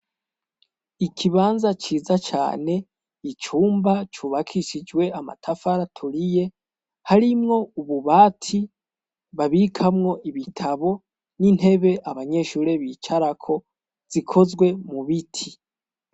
Ikibanza ciza cane icumba cubakishijwe amatafaraturiye harimwo ububati babikamwo ibitabo n'intebe abanyeshure bicarako zikozwe mu biti.